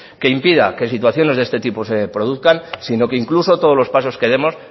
que impida que situaciones de este tipo se produzcan sino que incluso todos los pasos que demos